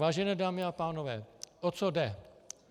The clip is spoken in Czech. Vážené dámy a pánové, o co jde.